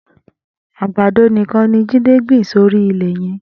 Agbádó nikán ni Jide gbin sóri ilẹ yẹn